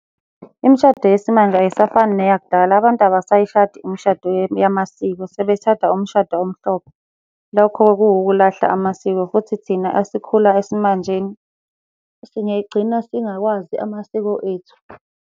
Imishado yesimanje ayisafani neyakudala abantu abasayishadi umshado yamasiko sebeshada umshado omhlophe. Lokho kuwukulahla amasiko, futhi thina esikhula esimanjeni singay'gcina singawazi amasiko ethu.